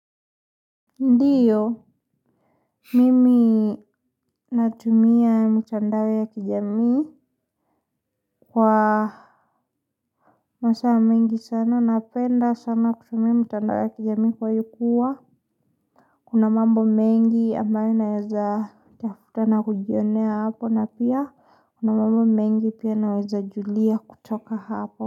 Ndiyo, mimi. Natumia mitandao ya kijamii kwa masaa mengi sana napenda sana kutumia mtandao ya kijamii kwa kuwa kuna mambo mengi ambayo naweza tafuta na kujionea hapo na pia kuna mambo mengi pia naweza julia kutoka hapo.